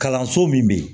Kalanso min bɛ yen